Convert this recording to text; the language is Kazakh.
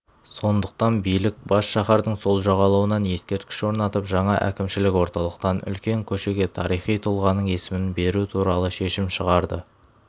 сондықтан билік бас шаһардың сол жағалауынан ескерткіш орнатып жаңа әкімшілік орталықтан үлкен көшеге тарихи тұлғаның есімін беру туралы шешім шығарды